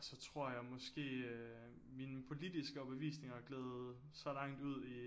Så tror jeg måske øh min politiske overbevisninger gled så langt ud i